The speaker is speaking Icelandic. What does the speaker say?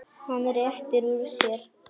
Hann réttir úr sér.